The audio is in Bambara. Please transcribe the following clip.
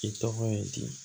I tɔgɔ ye di